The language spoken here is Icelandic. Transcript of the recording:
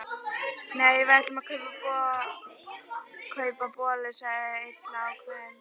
Nei, við ætlum að kaupa bollur sagði Lilla ákveðin.